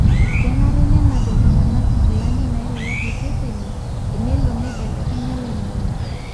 kenare nenenap iltunganak nkilanik nairowuaje seseni enelo nibelekenya oloingange